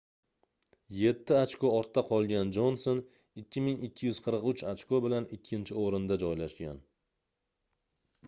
yetti ochko ortda qolgan jonson 2243 ochko bilan ikkinchi oʻrinda joylashgan